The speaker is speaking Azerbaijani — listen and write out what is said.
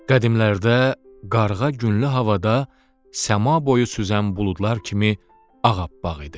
Qədimlərdə qarğa günlü havada səma boyu süzən buludlar kimi ağappaq idi.